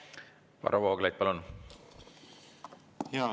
Varro Vooglaid, palun!